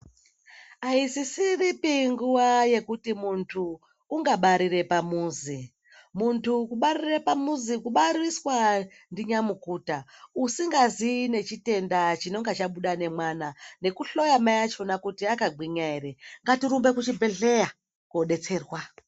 Aisisiripi nguwa yekuti muntu ungabarire pamuzi, muntu kubarire pamuzi kubariswa ndinyamukuta usingaziyi nechitenda chinenge chabuda nemwana nekuhloya mai acho kuti akagwinya ere, ngatirumbe kuchibhedhleya kodetserwa.